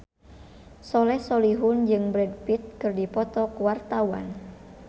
Soleh Solihun jeung Brad Pitt keur dipoto ku wartawan